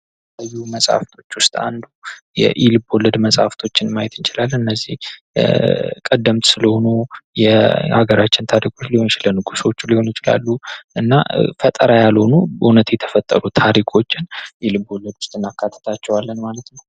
ከመጽሐፍቶች የኢልቦለድ መጽሐፍቶች ማየት ይቻላል እነዚህ ቀደም ስለሆኑ የሀገራችን ታሪክ ሊሆን ይችላሉ እና ፈጠራ ያልሆኑ እውነቱ የተፈጠሩ ታሪኮች ልቦለድ ዉስጥ እናክላትታቸዋለን ማለት ነው።